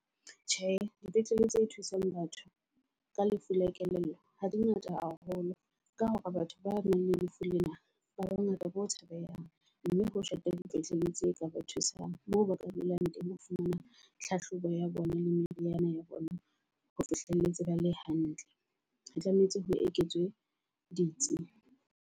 Tjhe, dipetlele tse thusang batho ka lefu la kelello ha di ngata haholo ka hore batho ba nang le lefu lena ba bangata bo tshabehang. Mme ho shota di petleleng tse ka ba thusang moo ba ka dulang teng ho fumana tlhahlobo ya bona le meriana ya bona. Ho fihlelletse ba le hantle, re tlametse ho eketswe ditsi.